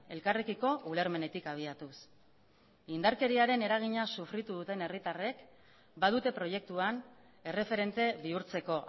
elkarrekiko ulermenetik abiatuz indarkeriaren eragina sofritu duten herritarrek badute proiektuan erreferente bihurtzeko